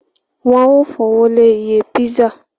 Wọ́n ó fowó lé iye písà